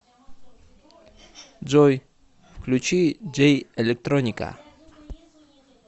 джой включи джей электроника